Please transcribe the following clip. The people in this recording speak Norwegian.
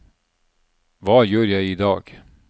hva gjør jeg idag